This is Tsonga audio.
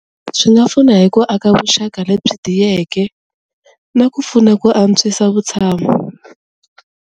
Swi nga pfuna hi ku aka vuxaka lebyi tiyeke na ku pfuna ku antswisa vutshamo.